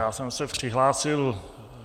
Já jsem se přihlásil...